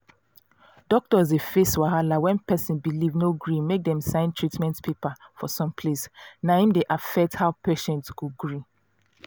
doctors dey face wahala when person belief no gree make dem sign treatment paper for some place na im dey affect how patient go agree